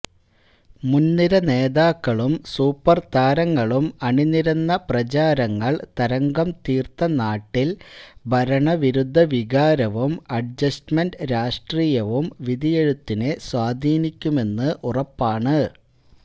മുന്നിരനേതാക്കളും സൂപ്പര്താരങ്ങളും അണിനിരന്ന പ്രചാരണങ്ങള് തരംഗം തീര്ത്ത നാട്ടില് ഭരണവിരുദ്ധ വികാരവും അഡ്ജസ്റ്റ്മെന്റ് രാഷ്ട്രീയവും വിധിയെഴുത്തിനെ സ്വാധീനിക്കുമെന്ന് ഉറപ്പാണ്